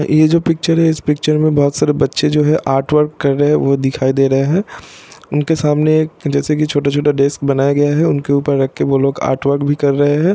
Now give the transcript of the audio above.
यह जो पिच्चर है इसमें बहुत सारे बच्चे आर्टवर्क कर रहे है| वो दिखाई दे रहे है| उनके सामने एक जैसा की छोटा छोटा डेस्क बनाया गया है उनके ऊपर रख के वो लोग रख के आर्ट वर्क भी कर रहे है।